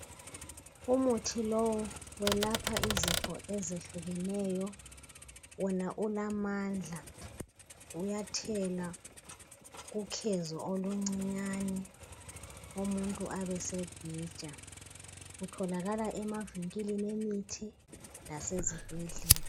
Umuthi lowu welapha izifo ezehlukeneyo. Wona ulamandla, uyathelwa kukhezo oluncinyane umuntu abesebhija. Kutholakala emavinkilini emithi lasezibhedlela.